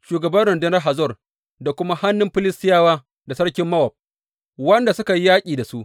shugaban rundunar Hazor da kuma hannun Filistiyawa da sarkin Mowab wanda suka yi yaƙi da su.